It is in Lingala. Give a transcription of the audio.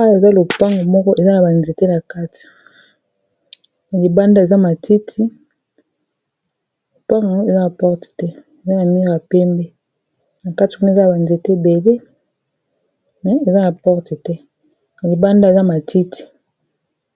Oyo ezali lopangu eza na ba nzete na kati na libanda eza na matiti, lopangu yango eza na porte te